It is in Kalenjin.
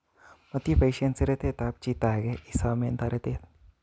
Motiboisen seretetab chito age isomen toretet